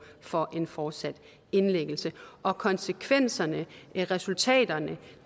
for en fortsat indlæggelse og konsekvenserne resultaterne